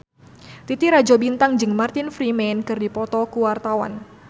Titi Rajo Bintang jeung Martin Freeman keur dipoto ku wartawan